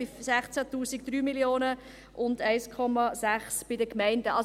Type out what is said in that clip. Bei 16 000 Franken sind es 3 Mio. Franken und 1,6 Mio. Franken bei den Gemeinden.